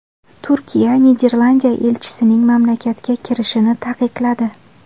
Turkiya Niderlandiya elchisining mamlakatga kirishini taqiqladi .